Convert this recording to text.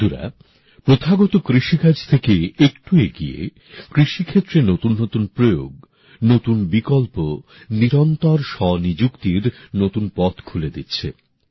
বন্ধুরা প্রথাগত কৃষিকাজ থেকে একটু এগিয়ে কৃষিক্ষেত্রে নতুন নতুন প্রয়োগ নতুন বিকল্প নিরন্তর স্বনিযুক্তির নতুন পথ খুলে দিচ্ছে